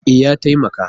E, ya taimaka